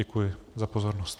Děkuji za pozornost.